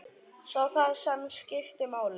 Sá það sem skipti máli.